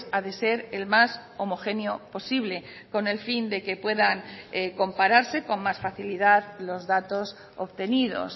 ha de ser el más homogéneo posible con el fin de que puedan compararse con más facilidad los datos obtenidos